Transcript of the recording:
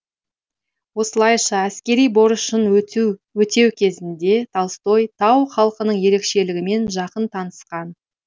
осылайша әскери борышын өтеу кезінде толстой тау халқының ерекшелігімен жақын танысқан